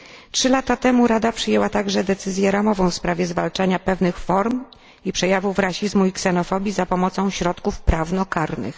Trzy lata temu Rada przyjęła także decyzję ramową w sprawie zwalczania pewnych form i przejawów rasizmu i ksenofobii za pomocą środków prawno karnych.